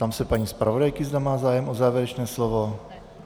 Ptám se paní zpravodajky, zda má zájem o závěrečné slovo.